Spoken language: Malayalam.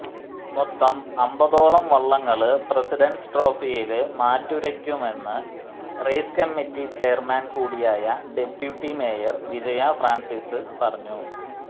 മൊത്തം അമ്പതോളം വളളങ്ങള് പ്രസിഡന്റ്സ് ട്രോഫിയില് മാറ്റുരയ്ക്കുമെന്ന് റേസ് കമ്മിറ്റി ചെയര്മാന് കൂടിയായ ഡെപ്യൂട്ടി മേയര് വിജയ ഫ്രാന്സിസ് പറഞ്ഞു